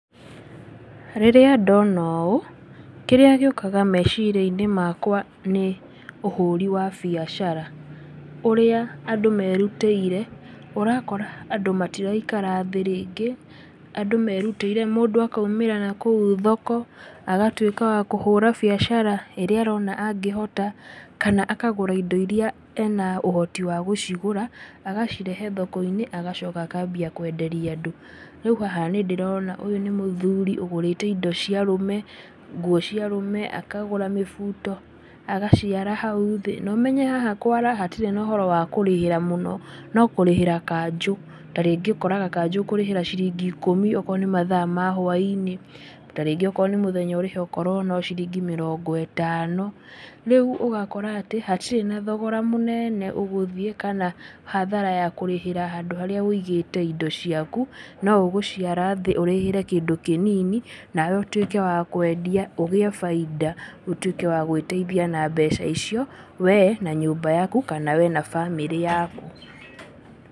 Rĩrĩa ndona ũũ, kĩrĩa gĩũkaga meciria-inĩ makwa nĩ ũhũri wa biacara, ũrĩa andũ merutĩire. Ũrakora andũ matiraikara thĩ rĩngĩ. Andũ merutĩire mũndũ akoimĩra nakũu thoko agatwĩka wa kũhũra biacara ĩrĩa arona angĩhota, kana akagũra indo iria ena ũhoti wa gũcigũra agacirehe thoko-inĩ, agacoka akambia kwenderia andũ. Rĩu haha nĩ ndĩrona ũyũ nĩ mũthuri ũgũrĩte indo cia arũme, nguo cia arũme, akagũra mĩbuto, agaciara hau thĩ. Na ũmenye haha kwara hatirĩ na ũhoro wa kũrĩhĩra mũno. No kũrĩhĩra kanjũ. Ta rĩngĩ ũkoraga ũkũrĩhĩra ciringi ikũmi okorwo nĩ mathaa ma hwainĩ. Ta rĩngĩ okorwo nĩ mũthenya ũrĩhe okorwo no ciringi mĩrongo ĩtano. Rĩu ũgakora atĩ hatirĩ na thogora mũnene ũgũthiĩ, kana hathara ya kũrĩhĩra handũ harĩa ũigĩte indo ciaku, no ũgũciara thĩ ũrĩhĩre kĩndũ kĩnini, nawe ũtuĩke wa kwendia, ũgĩe bainda ũtuĩke wa gwĩteithia na mbeca icio we na nyũmba yaku kana we na bamĩrĩ yaku.